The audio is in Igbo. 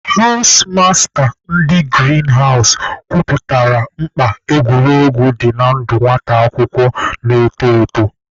Hawụs masta ndị girin hawụs kọwapụtara mkpa egwuregwu dị na ndụ nwata akwụkwọ na-eto eto.